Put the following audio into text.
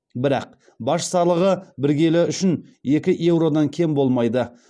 бірақ баж салығы бір келі үшін екі еуродан кем болмайды